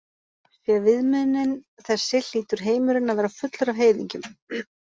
Sé viðmiðunin þessi hlýtur heimurinn að vera fullur af heiðingjum.